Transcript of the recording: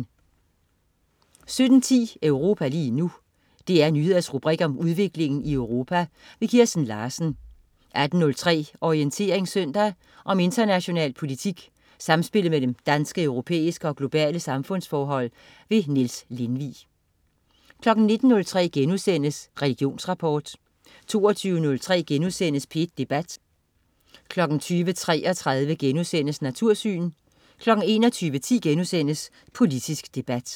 17.10 Europa lige nu. DR Nyheders rubrik om udviklingen i Europa. Kirsten Larsen 18.03 Orientering søndag. Om international politik, samspillet mellem danske, europæiske og globale samfundsforhold. Niels Lindvig 19.03 Religionsrapport* 20.03 P1 Debat* 20.33 Natursyn* 21.10 Politisk debat*